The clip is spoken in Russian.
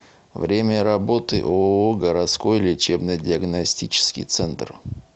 время работы ооо городской лечебно диагностический центр